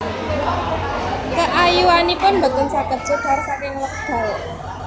Keayuanipun boten saged pudar saking wekdal